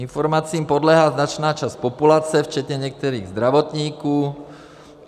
Informacím podléhá značná část populace, včetně některých zdravotníků.